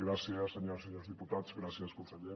gràcies senyores i senyors diputats gràcies conseller